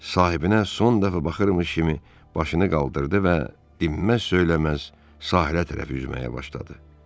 Sahibinə son dəfə baxırmış kimi başını qaldırdı və dinməz söyləməz sahilə tərəf üzməyə başladı.